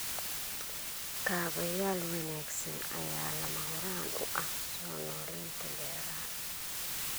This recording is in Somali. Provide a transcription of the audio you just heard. Kaabayaal wanaagsan ayaa lama huraan u ah soo noolaynta beeraha.